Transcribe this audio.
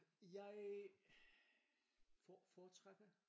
Jeg foretrækker?